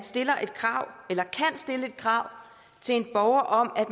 kan stille et krav til en borger om at